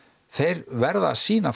þeir verða að sýna